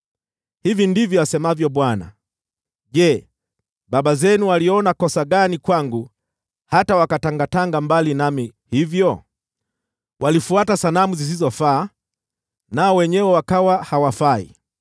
Hivi ndivyo asemavyo Bwana : “Je, baba zenu waliona kosa gani kwangu, hata wakatangatanga mbali nami hivyo? Walifuata sanamu zisizofaa, nao wenyewe wakawa hawafai.